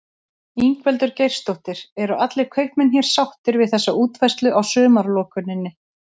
Ingveldur Geirsdóttir: Eru allir kaupmenn hér sáttir við þessa útfærslu á sumarlokuninni?